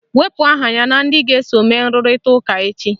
Wepu aha ya na ndị ga-eso mee nrụrịta ụka echi!